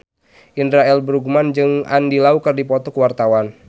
Indra L. Bruggman jeung Andy Lau keur dipoto ku wartawan